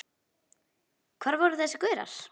Hvar voru þessir gaurar?